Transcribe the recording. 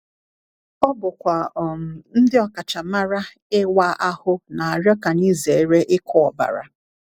Ọ bụkwa um ndị ọkachamara ịwa ahụ na-arịọ ka anyị zere ịkụ ọbara!